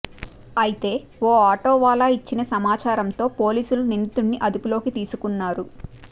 అయితే ఓ ఆటోవాలా ఇచ్చిన సమాచారంతో పోలీసులు నిందితుడిని అదుపులోకి తీసుకున్నారు